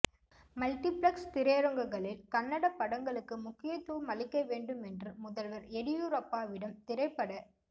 multiplex திரையரங்குகளில் கன்னட படங்களுக்கு முக்கியத்துவம் அளிக்க வேண்டும் என்று முதல்வா் எடியூரப்பாவிடம் திரைப்பட